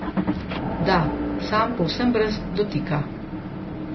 Da, sam povsem brez dotika.